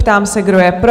Ptám se, kdo je pro?